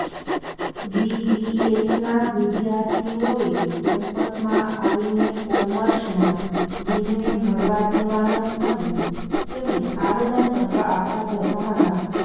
વીવીએસના વિદ્યાર્થીઓએ કેમ્પસમાં આવીને કોમર્સના ડીનને મળવા જવાનો અને તેમને આવેદનપત્ર આપવા જતા હતા